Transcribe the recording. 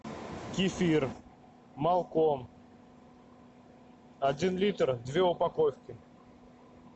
кефир малком один литр две упаковки